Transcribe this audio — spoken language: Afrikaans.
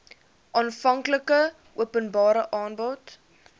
aanvanklike openbare aanbod